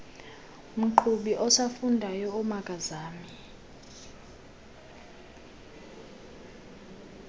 mqhubi osafundayo omakazame